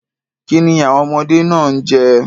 Kí ni àwọn ọmọdé máa ń jẹ?